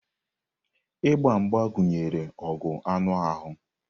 Mgba mgba gụnyere ọgụ anụ ahụ.